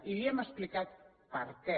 i li hem explicat per què